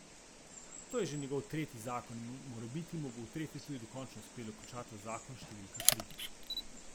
To je že njegov tretji zakon in morebiti mu bo v tretje tudi dokončno uspelo končati zakon številka tri.